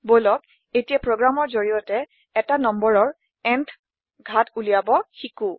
বলক এতিয়া প্ৰোগ্ৰামৰ জৰিয়তে এটা নম্বৰৰ ন্থ ঘাত উলিয়াবব শিকো